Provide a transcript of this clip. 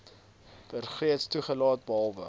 bergreeks toegelaat behalwe